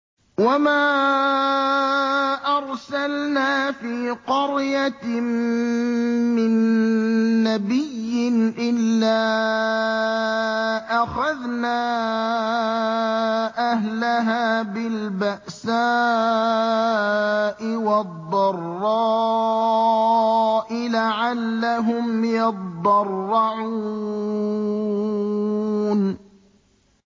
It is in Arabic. وَمَا أَرْسَلْنَا فِي قَرْيَةٍ مِّن نَّبِيٍّ إِلَّا أَخَذْنَا أَهْلَهَا بِالْبَأْسَاءِ وَالضَّرَّاءِ لَعَلَّهُمْ يَضَّرَّعُونَ